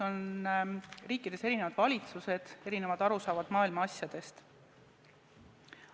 Riikides on erinevad valitsused ja erinevad arusaamad maailma asjadest.